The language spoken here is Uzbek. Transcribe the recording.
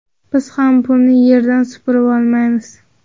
Biz ham pulni yerdan supurib olmaymiz.